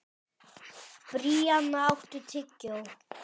Bríanna, áttu tyggjó?